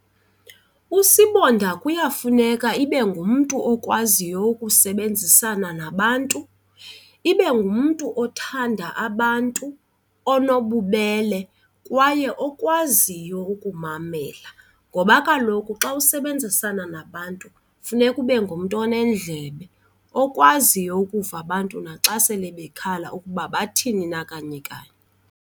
Usibonda kuyafuneka ibe ngumntu okwaziyo ukusebenzisana nabantu, ibe ngumntu othanda abantu onobubele kwaye okwazi oyaziyo ukumamela. Ngoba kaloku xa usebenzisana nabantu funeka ube ngumntu onendlebe okwaziyo ukuva abantu naxa sele bekhalaza ukuba bathini na kanye kanye.